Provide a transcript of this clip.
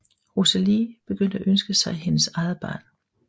Rosalie begyndte at ønske sig hendes eget barn